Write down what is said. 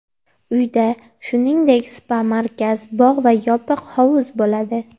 Uyda, shuningdek, spa-markaz, bog‘ va yopiq hovuz bo‘ladi.